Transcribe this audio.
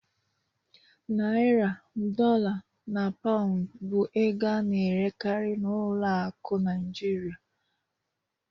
Naịra, Dọla na Paụndụ bụ ego a na-erekarị n'ụlọ akụ Naịjirịa.